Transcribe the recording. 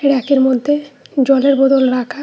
রেকের মধ্যে জলের বোতল রাখা।